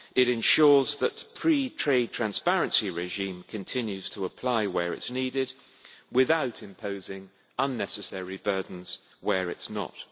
It ensures that the pre trade transparency regime continues to apply where it is needed, without imposing unnecessary burdens where it is not.